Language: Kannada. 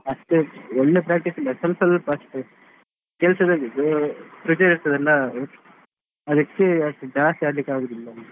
ಅಷ್ಟೇ ಒಳ್ಳೆ practice ಇಲ್ಲ ಸ್ವಲ್ಪ ಸ್ವಲ್ಪ ಅಷ್ಟೇ ಕೆಲಸದಲ್ಲಿ ಇದ್ದು, ರಜೆ ಇರ್ತದಲ್ಲ ಅದಕ್ಕೆ ಅಷ್ಟು ಜಾಸ್ತಿ ಆಡ್ಲಿಕ್ ಆಗಲ್ಲ.